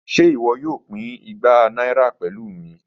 Ṣe iwọ yoo pin igba naira pẹlu mi?